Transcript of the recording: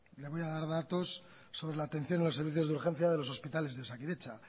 le voy a dar datos sobre la atención a los servicios de urgencia de los hospitales de osakidetza